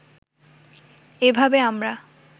এভাবে আমরা